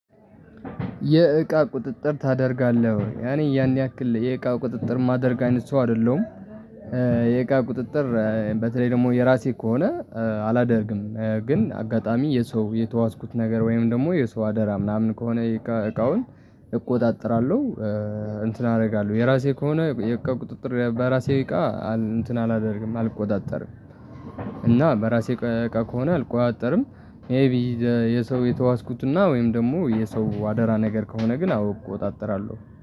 የእቃ ቁጥጥር ታደርጋለህ ወይ? እኔ ያን ያክል የእቃ ቁጥጥር ማደርግ አይነት ሰው አይደለሁም። የእቃ ቁጥጥር በተለይ ደግሞ የራሴ ከሆነ አላደርግም ግን አጋጣሚ የሰው የተዋስኩት ነገር ወይም ደግሞ የሰው አደራ ምናምን ከሆነ የእቃውን እቆጣጠራለሁ። እንትን አደርጋለሁ የራሴ ከሆነ የቅው ቁጥጥር በራሴ እቃ እንትን አላደርግም አልቆጣጠርም። እና በራሴ እቃ ከሆነ አልቆጣጠርም። ይሄ የሰው የተዋስኩትና ወይም ደግሞ የሰው አደራ ነገር ከሆነ ግን አውቅ እወጣጠራለሁ።